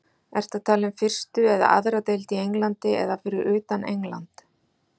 Ertu að tala um fyrstu eða aðra deild í Englandi eða fyrir utan England?